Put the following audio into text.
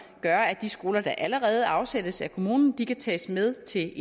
gør at de skoler der allerede afsættes af kommunen kan tages med til